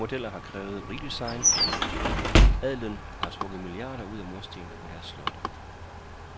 Ældre modeller har krævet redesign. Adelen har trukket milliarder ud af murstene på deres slotte